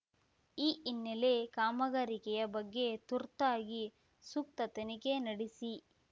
ಈ ಹಿನ್ನೆಲೆ ಕಾಮಗಾರಿಕೆಯ ಬಗ್ಗೆ ತುರ್ತಾಗಿ ಸೂಕ್ತ ತನಿಖೆ ನಡೆಸಿ